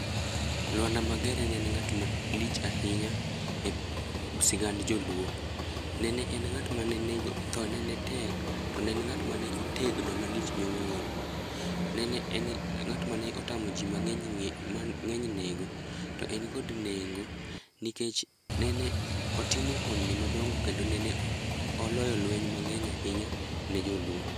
Lwanda Magere ne en ng'at malich ahinya e sigand joluo. Ne en ng'at mane nego, thone ne tek to ne en ng'at ma otegno malich miwuoro. Ne en ng'at mane otamo jii mangeny nego to en kod nengo nikech ne otimo hon ni madongo kendo nene oloyo lweny mangeny ahinya ne joluo